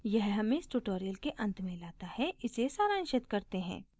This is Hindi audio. यह हमें इस tutorial के अंत में let है इसे सारांशित करते हैं